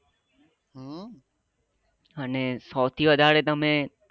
અને સૌથી વધારે તમે